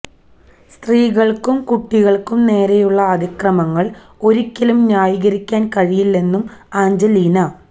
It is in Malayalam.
സ്ത്രീകള്ക്കും കുട്ടികള്ക്കും നേരെയുള്ള അതിക്രമങ്ങള് ഒരിയ്ക്കലും ന്യായീകരിക്കാന് കഴിയില്ലെന്നും ആഞ്ചലീന